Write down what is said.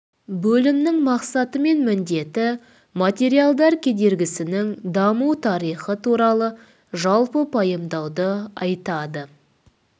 бөлімнің мақсаты мен міндеті материалдар кедергісінің даму тарихы туралы жалпы пайымдауды айтады